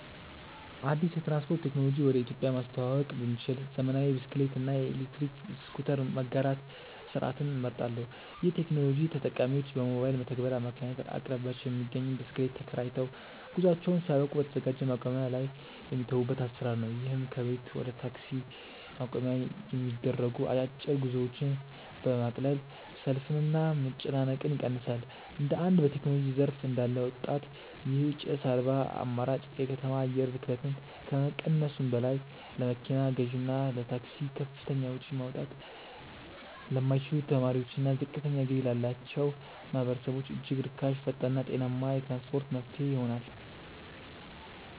አዲስ የትራንስፖርት ቴክኖሎጂ ወደ ኢትዮጵያ ማስተዋወቅ ብችል፣ ዘመናዊ የብስክሌት እና የኤሌክትሪክ ስኩተር መጋራት ስርዓትን እመርጣለሁ። ይህ ቴክኖሎጂ ተጠቃሚዎች በሞባይል መተግበሪያ አማካኝነት በአቅራቢያቸው የሚገኝን ብስክሌት ተከራይተው፣ ጉዟቸውን ሲያበቁ በተዘጋጀ ማቆሚያ ላይ የሚተዉበት አሰራር ነው። ይህም ከቤት ወደ ታክሲ ማቆሚያ የሚደረጉ አጫጭር ጉዞዎችን በማቅለል ሰልፍንና መጨናነቅን ይቀንሳል። እንደ አንድ በቴክኖሎጂ ዘርፍ እንዳለ ወጣት፣ ይህ ጭስ አልባ አማራጭ የከተማ አየር ብክለትን ከመቀነሱም በላይ፣ ለመኪና ግዢና ለታክሲ ከፍተኛ ወጪ ማውጣት ለማይችሉ ተማሪዎችና ዝቅተኛ ገቢ ላላቸው ማህበረሰቦች እጅግ ርካሽ፣ ፈጣንና ጤናማ የትራንስፖርት መፍትሄ ይሆናል።